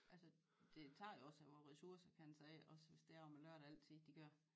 Altså det tager jo også på ressourcer kan man sige også hvis det er om lørdagen altid de kører